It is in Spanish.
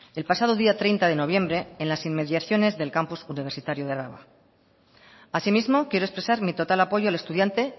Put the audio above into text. el pasado día treinta de noviembre en las inmediaciones del campus universitario de álava asimismo quiero expresar mi total apoyo al estudiante